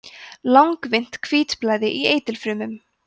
langvinnt hvítblæði í eitilfrumum